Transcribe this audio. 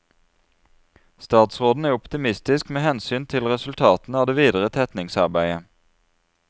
Statsråden er optimistisk med hensyn til resultatene av det videre tetningarbeidet.